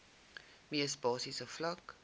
mees basiese vlak